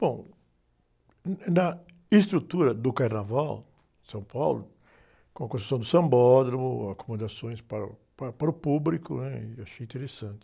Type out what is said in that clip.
Bom, hum, na estrutura do Carnaval de São Paulo, com a construção do sambódromo, acomodações para o, para, para o público, né? Eu achei interessante.